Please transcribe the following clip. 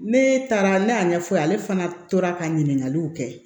Ne taara ne y'a ɲɛf'a ye ale fana tora ka ɲininkaliw kɛ